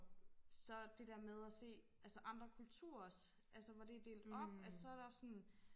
så det der med at se altså andre kulturers altså hvor det er delt op at så er der sådan